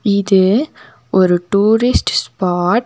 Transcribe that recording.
இது ஒரு tourist spot .